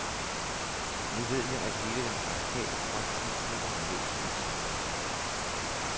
Nu ved jeg, at hele den radikale folketingsgruppe har meldt sig som indsamlere.